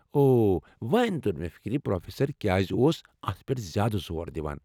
او، وۄنۍ تو٘ر مے٘ فِكری پروفیسر كیازِ اوس اتھ پٮ۪تھ زیادٕ زور دِوان ۔